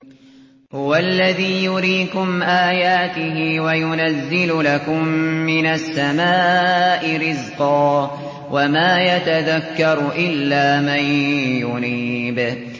هُوَ الَّذِي يُرِيكُمْ آيَاتِهِ وَيُنَزِّلُ لَكُم مِّنَ السَّمَاءِ رِزْقًا ۚ وَمَا يَتَذَكَّرُ إِلَّا مَن يُنِيبُ